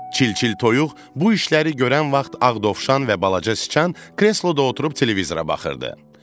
Çil-çil toyuq bu işləri görən vaxt Ağ dovşan və balaca sıçan kresloda oturub televizora baxırdı.